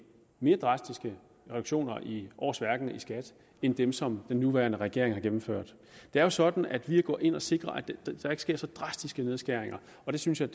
mere drastiske reduktioner i årsværkene i skat end dem som den nuværende regering har gennemført det er jo sådan at vi går ind og sikrer at der ikke sker så drastiske nedskæringer og det synes jeg